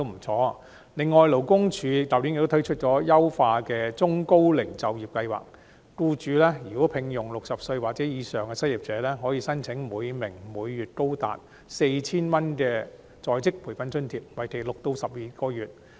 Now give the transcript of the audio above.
此外，勞工處去年亦推出優化的中高齡就業計劃，如僱主聘用60歲或以上的失業者，可以申請每名每月高達 4,000 元的在職培訓津貼，為期6至12個月。